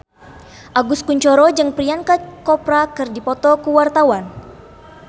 Agus Kuncoro jeung Priyanka Chopra keur dipoto ku wartawan